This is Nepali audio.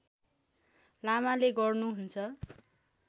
लामाले गर्नुहुन्छ